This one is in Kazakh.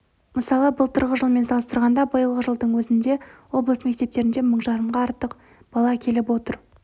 мысалы былтырғы жылмен салыстырғанда биылғы жылдың өзінде облыс мектептерінде мың жарымға артық бала келіп отыр